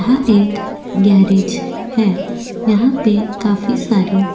यह एक गेरेज है यहा पे काफी सारि --